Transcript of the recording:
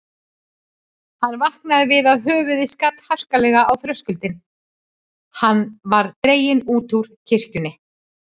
Hann vaknaði við að höfuðið skall harkalega á þröskuldi, hann var dreginn út úr kirkjunni.